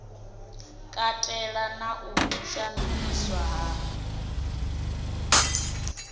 katela na u shandukiswa ha